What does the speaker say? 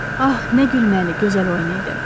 Ah, nə gülməli, gözəl oyun idi.